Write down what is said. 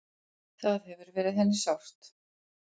Það hefur verið henni sárt.